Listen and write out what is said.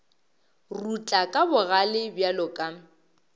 rutla ka bogale bjalo ka